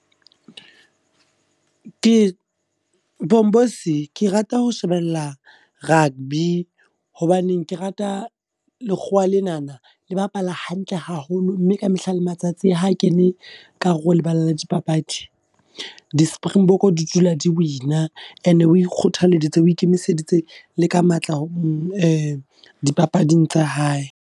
Ke Pomposi, ke rata ho shebella rugby. Hobaneng ke rata lekgowa lenana le bapala hantle haholo, mme ka mehla le matsatsi a ha kene ka hare ho lebala le di papadi. Di-Springbok di dula di win-a. And o ikgothaleditse o ikemiseditse le ka matla dipapading tsa hae.